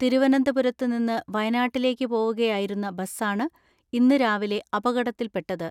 തിരുവനന്തപുരത്തു നിന്ന് വയനാട്ടിലേക്ക് പോവുക യായിരുന്ന ബസ്സാണ് ഇന്ന് രാവിലെ അപകടത്തിൽപ്പെ ട്ടത്.